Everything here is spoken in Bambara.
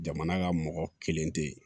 Jamana ka mɔgɔ kelen tɛ yen